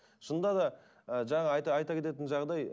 шынында да ы жаңа айта кететін жағдай